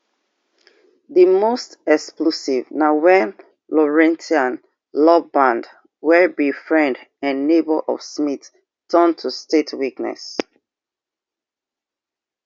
di most explosive na wen lourentia lombaard wey be friend and neighbour of smith turn to state witness